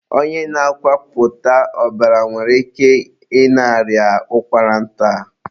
onye na-akwapụta ọbara nwere ike ị na-arịa ụkwara nta.